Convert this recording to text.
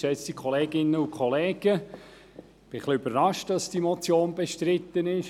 Ich bin überrascht, dass diese Motion bestritten ist.